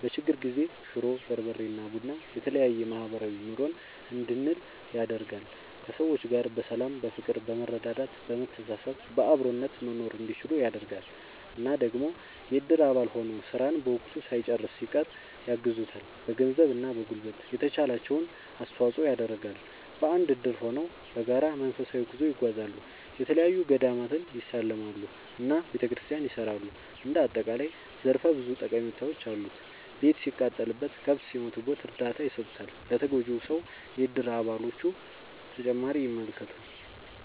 በችግር ጊዜ ሽሮ፣ በርበሬ እና ቡና የተለያዬ ማህበራዊ ኑሮን እንድንል ያደርጋል። ከሰዎች ጋር በሰላም በፍቅር በመረዳዳት በመተሳሰብ በአብሮነት መኖርእንዲችሉ ያደርጋል። እና ደግሞ የእድር አባል ሆኖ ስራን በወቅቱ ሳይጨርስ ሲቀር ያግዙታል በገንዘብ እና በጉልበት የተቻላቸውን አስተዋፅዖ ይደረጋል። በአንድ እድር ሆነው በጋራ መንፈሳዊ ጉዞ ይጓዛሉ፣ የተለያዪ ገዳማትን ይሳለማሉ እና ቤተክርስቲያን ያሰራሉ እንደ አጠቃላይ ዘርፈ ብዙ ጠቀሜታዎች አሉት። ቤት ሲቃጠልበት፣ ከብት ሲሞትበት እርዳታ ይሰጡታል ለተጎጂው ሰው የእድር አባሎቹ።…ተጨማሪ ይመልከቱ